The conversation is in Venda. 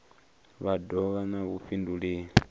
vha do vha na vhudifhinduleli